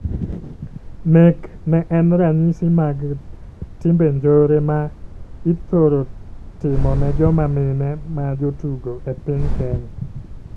Nek ne en ranyisi mag timbe njore ma I thoro timo ne joma mine ma jo tugo e piny Kenya.